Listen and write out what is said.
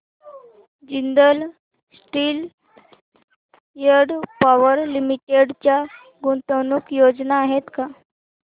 Jindal steel and power limited च्या गुंतवणूक योजना आहेत का